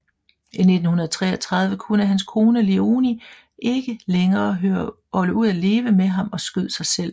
I 1933 kunne hans kone Léonie ikke længere holde ud af leve med ham og skød sig selv